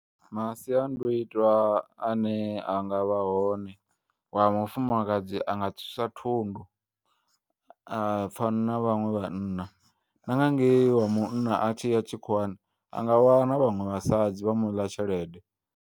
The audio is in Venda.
Masiandoitwa ane angavha hone wamufumakadzi anga tswisa thundu a pfana na vhaṅwe vhanna, na nga ngei wa munna atshiya tshikhuwani anga wana vhaṅwe vhasadzi vha muḽa tshelede.